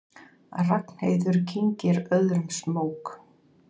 Ragnheiður kyngir öðrum smók.